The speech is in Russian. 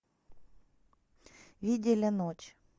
видели ночь